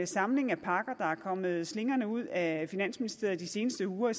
samling af pakker der er kommet slingrende ud af finansministeriet de seneste uger i